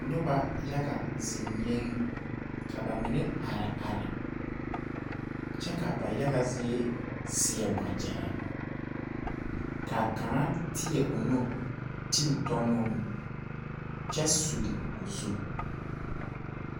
Noba yaga zeŋɛɛ ka ba mine are are kyɛ ka ba yaga zie seɛ wagyɛre ka kaŋa teɛ o nu ti o tɔ nuŋ kyɛ suli o zu.